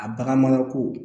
A bagan marako